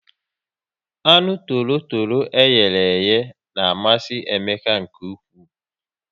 Anụ torotoro eyere iye na amasị Emeka nke ụkwụ